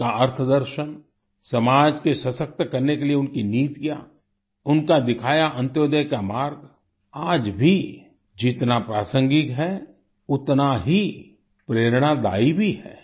उनका अर्थदर्शन समाज को सशक्त करने के लिए उनकी नीतियाँ उनका दिखाया अंत्योदय का मार्ग आज भी जितना प्रासंगिक है उतना ही प्रेरणादायी भी है